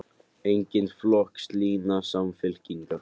Engin flokkslína Samfylkingar